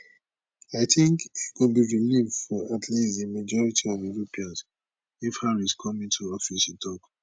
i tink e go be relief for at least di majority of europeans if harris come into office e tok